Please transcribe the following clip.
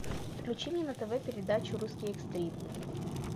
включи мне на тв передачу русский экстрим